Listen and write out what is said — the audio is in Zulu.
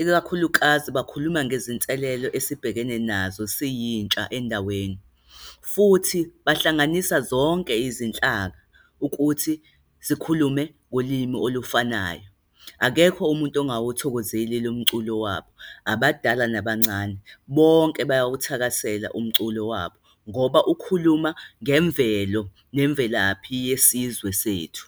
ikakhulukazi bakhuluma ngezinselelo esibhekene nazo, siyintsha endaweni. Futhi bahlanganisa zonke izinhlaka, ukuthi sikhulume ngolimi olufanayo. Akekho umuntu ongawuthokozeli lo mculo wabo. Abadala nabancane, bonke bawuthakasela umculo wabo, ngoba ukhuluma ngemvelo nemvelaphi yesizwe sethu.